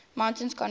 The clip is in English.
mutations confer